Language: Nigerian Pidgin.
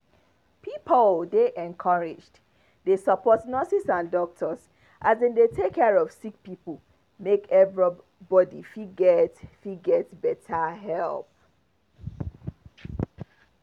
pipo dey encouraged dey support nurses and doctors as dem dey take care of sick people make every body fit get fit get better help.